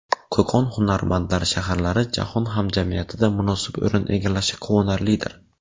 Qo‘qon hunarmandlar shaharlari jahon hamjamiyatida munosib o‘rin egallashi quvonarlidir.